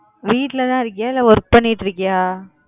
வீட்லதா இருக்கியா இல்லை work பண்ணிட்டு இருக்கியா